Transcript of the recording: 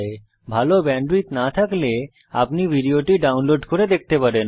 যদি ভাল ব্যান্ডউইডথ না থাকে তাহলে আপনি ভিডিওটি ডাউনলোড করে দেখতে পারেন